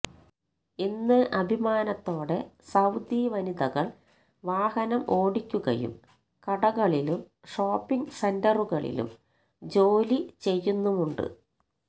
ഇന്ന് അഭിമാനത്തോടെ സൌദി വനിതകൾ വാഹനം ഓടിക്കുകയും കടകളിലും ഷോപ്പിംഗ് സെന്ററുകളിലും ജോലി ചെയ്യുന്നുമുണ്ട്